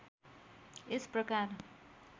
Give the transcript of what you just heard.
यस प्रकार